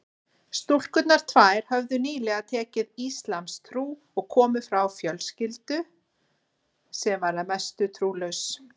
Stúlkurnar tvær höfðu nýlega tekið íslamstrú og komu frá fjölskyldu sem var að mestu trúlaus.